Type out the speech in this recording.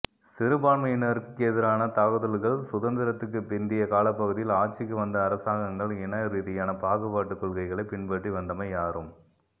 சிறுபான்மையினருக்கெதிரான தாக்குதல்கள் சுதந்திரத்துக்கு பிந்திய காலப்பகுதியில் ஆட்சிக்கு வந்த அரசாங்கங்கள் இன ரீதியான பாகுபாட்டுக் கொள்கைகளைப் பின்பற்றி வந்தமை யாரும்